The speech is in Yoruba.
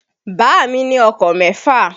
Bàámi ní ọkọ̀ mẹ́fà.